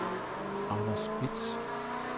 Anders Bitsch